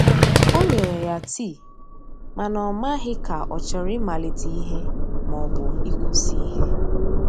o nyere ya tii, mana o maghi ka ochọrọ I malite ihe ma ọbụ ikwụsi ihe.